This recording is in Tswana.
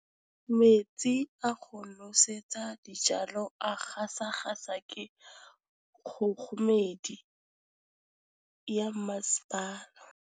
Metsi a go nosetsa dijalo a gasa gasa ke kgogomedi ya masepala.